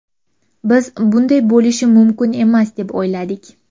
Biz bunday bo‘lishi mumkin emas deb o‘yladik.